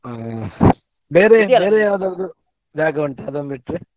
ಅಹ್ ಬೇರೆ ಬೇರೆ ಯಾವುದಾದ್ರು ಜಾಗ ಉಂಟಾ ಅದನ್ಬಿಟ್ಟರೆ?